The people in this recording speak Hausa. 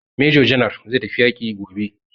Major general zai tafi yaƙi gobe.